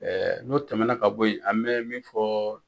n'o tɛmɛna ka bɔ ye an mɛ min fɔ